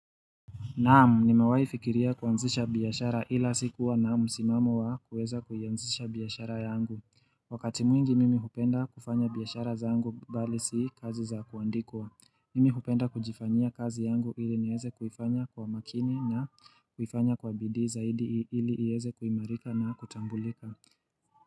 Naam, nimewahi fikiria kuanzisha biashara ila sikuwa na msimamo wa kuweza kuianzisha biashara yangu. Wakati mwingi mimi hupenda kufanya biashara zangu bali si kazi za kuandikwa. Mimi hupenda kujifanyia kazi yangu ili niweze kuifanya kwa makini na kuifanya kwa bidi zaidi ili iweze kuimarika na kutambulika.